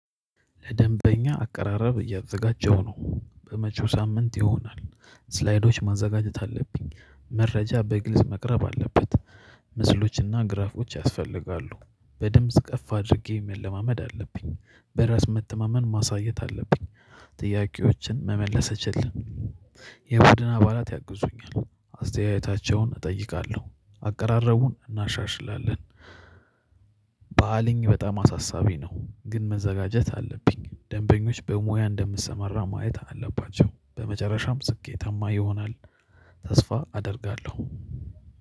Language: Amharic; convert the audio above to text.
ለደንበኛ አቀራረብ እያዘጋጀሁ ነው በመጭው ሳምንት ይሆናል። ስላይዶች ማዘጋጀት አለብኝ። መረጃ በግእዝ መቅረብ አለበት። ምስሎችና ግራፎች ያስፈልጋሉ። በድምጽ ከፋ አድርጌ መለማመድ አለብኝ። በራስ መተማመን ማሳየት አለብኝ። ጥያቄዎችን መመለስ ስችል የቡድን አባላት ያግዙኛል አስተያየታቸውን እጠይቃለሁ አቀራረቡን እናሻሽላለን። በአለኝ በጣም አሳሳቢ ነው። ግን መዘጋጀት አለብኝ ደንበኞች በሙያ እንደምሰማራ ማየት አለባቸው። በመጨረሻም ስኬታማ ይሆናል። ተስፋ አደርጋለሁ